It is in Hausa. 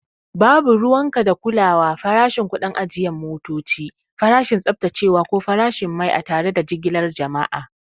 Babu ruwanka da kulawa farashin, kuɗin ajiye motoci, farashin tsaftacewa, ko farashin mai a tare da jigilar jama'